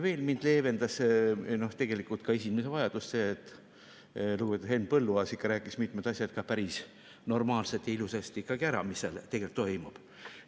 Veel leevendas minu esinemise vajadust tegelikult see, et lugupeetud Henn Põlluaas rääkis ikkagi mitmed asjad päris normaalselt ja ilusasti ära, mis seal tegelikult toimub.